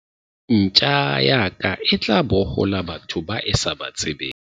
ntja ya ka e tla bohola batho bao e sa ba tsebeng